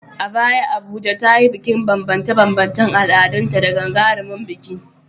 A baya Abuja ta yi bikin banbance-banbancen al’adunta da gagarumin biki.